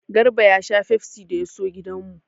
Garba ya sha fefsi da ya so gidan mu.